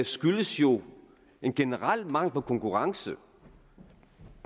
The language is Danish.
skyldes jo en generel mangel på konkurrence